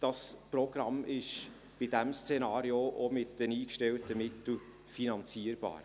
Das Programm ist bei diesem Szenario auch mit den eingestellten Mitteln finanzierbar.